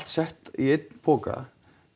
sett í einn poka